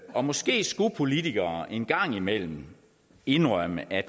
og måske skulle politikere en gang imellem indrømme at